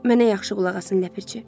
Mənə yaxşı qulaq asın, Ləpirçi.